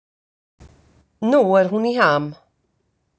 Nú er hún í ham.